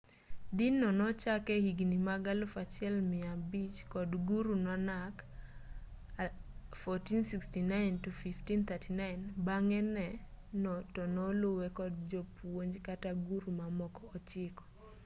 din no nochaki e higni mag 1500 kod guru nanak 1469-1539. bang'e no to noluwe kod jopuonj kata guru mamoko ochiko